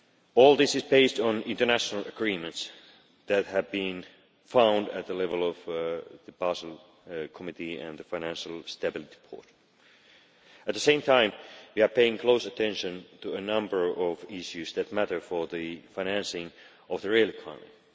All this is based on international agreements that have been reached at the level of the Basel Committee and the Financial Stability Board. At the same time, we are paying close attention to a number of issues that matter for the financing of the real economy.